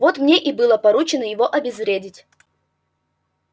вот мне и было поручено его обезвредить